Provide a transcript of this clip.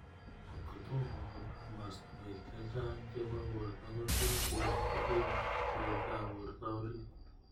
Kotko tomo ko pa mastwek chechang chepo porto kotos kinyaa ing tilet ap porto orit.